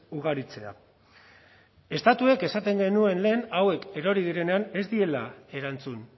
ugaritzea estatuek esaten genuen lehen hauek erori direnean ez diela erantzun